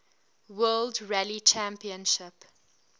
world rally championship